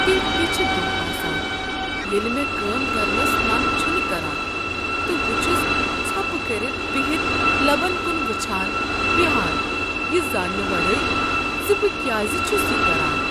تِتھۍ تہِ چھِ دوہ آسان ییٚلہِ مےٚ كٲم كرنس من چھُنہٕ كران تہٕ بہٕ چھُس ژھوپہٕ كرِتھ بِہِتھ لبن كُٖن وٕچھان بیہان یہِ زاننہٕ ورٲے زِ بہٕ كیازِ چھُس یہِ كران۔